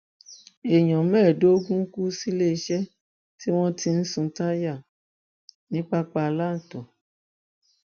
èèyàn mẹẹẹdógún kù síléeṣẹ tí wọn ti ń sun táyà ní papalanto